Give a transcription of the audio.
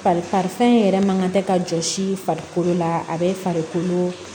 Fari fɛn yɛrɛ man kan tɛ ka jɔ si farikolo la a bɛ farikolo